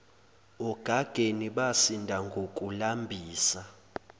ogageni basinda ngokulambisa